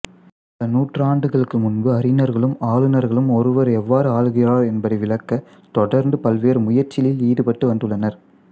பல நூற்றாண்டுகளுக்கு முன்பு அறிஞர்களும் ஆளுநர்களும் ஒருவர் எவ்வாறு ஆளுகிறார் என்பதை விளக்க தொடர்ந்து பல்வேறு முயற்சியில் ஈடுபட்டு வந்துள்ளனர்